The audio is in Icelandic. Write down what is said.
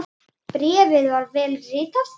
Bréfið var vel ritað.